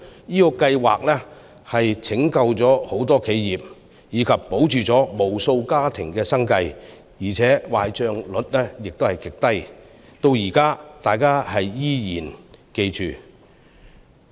這個計劃拯救了很多企業，保住無數家庭的生計，而且壞帳率極低，大家至今仍然記得。